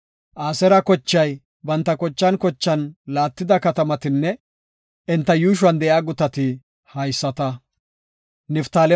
Aseera kochay banta kochan kochan laattida katamatinne enta yuushuwan de7iya gutati haysata.